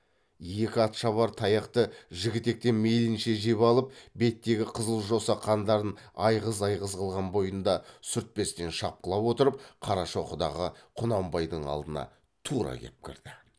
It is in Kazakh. екі атшабар таяқты жігітектен мейлінше жеп алып беттегі қызыл жоса қандарын айғыз айғыз қылған бойында сүртпестен шапқылап отырып қарашоқыдағы құнанбайдың алдына тура кеп кірді